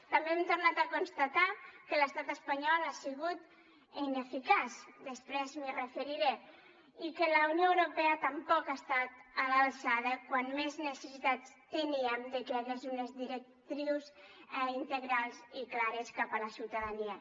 també hem tornat a constatar que l’estat espanyol ha sigut ineficaç després m’hi referiré i que la unió europea tampoc ha estat a l’alçada quan més necessitats teníem de que hi hagués unes directrius integrals i clares cap a la ciutadania